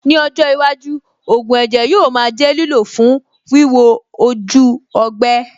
Ní ọjọ́ iwájú, ògùn ẹ̀jẹ̀ yóò máa jẹ́ lílò fún wíwo ojú ọgbẹ́.